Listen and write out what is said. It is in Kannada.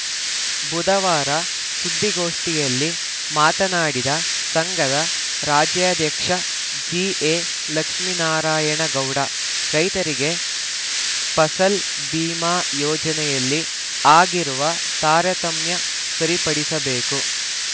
ಬುಧವಾರ ಸುದ್ದಿಗೋಷ್ಠಿಯಲ್ಲಿ ಮಾತನಾಡಿದ ಸಂಘದ ರಾಜ್ಯಾಧ್ಯಕ್ಷ ಜಿಎಲಕ್ಷ್ಮೇನಾರಾಯಣ ಗೌಡ ರೈತರಿಗೆ ಫಸಲ್‌ ಭೀಮಾ ಯೋಜನೆಯಲ್ಲಿ ಆಗಿರುವ ತಾರತಮ್ಯ ಸರಿಪಡಿಸಬೇಕು